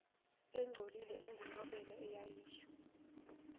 engcolile engunobela eyayisho